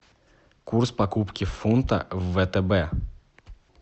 курс покупки фунта в втб